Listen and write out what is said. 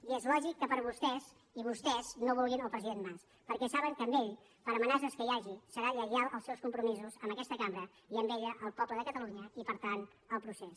i és lògic que per vostès i vostès no vulguin el president mas perquè saben que ell per amenaces que hi hagi serà lleial als seus compromisos amb aquesta cambra i amb ella al poble de catalunya i per tant al procés